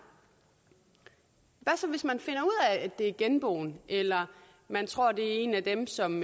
hvad så hvis man finder ud af at det er genboen eller man tror at det er en af dem som